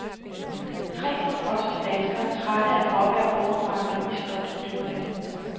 Tre forfrosne danskere, trætte af gråvejr, overfrakker og iskoldt dykkervand.